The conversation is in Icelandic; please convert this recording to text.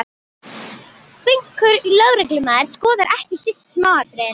Flinkur lögreglumaður skoðar ekki síst smáatriðin.